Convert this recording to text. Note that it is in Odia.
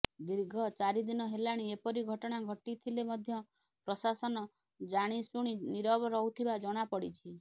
ଦୀର୍ଘ ଚାରିଦିନ ହେଲାଣି ଏପରି ଘଟଣା ଘଟିଥିଲେ ମଧ୍ୟ ପ୍ରଶାସନ ଜାଣିଶୁଣି ନୀରବ ରହୁଥିବା ଜଣାପଡ଼ିଛି